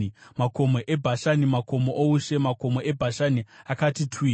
Makomo eBhashani makomo oushe; makomo eBhashani akati twi.